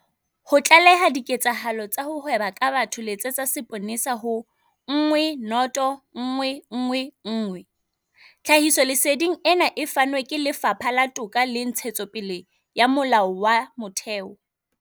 Ho tlaleha diketsahalo tsa ho hweba ka batho letsetsa seponesa ho- 10111. Tlhahisoleseding ena e fanwe ke Lefapha la Toka le Ntshetsopele ya Molao wa Motheo.